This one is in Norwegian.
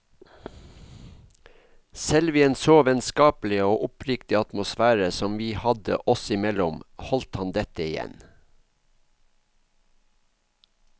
Selv i en så vennskapelig og oppriktig atmosfære som vi hadde oss imellom, holdt han dette igjen.